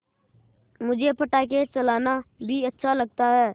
मुझे पटाखे चलाना भी अच्छा लगता है